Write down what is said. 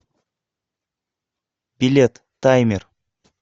билет таймер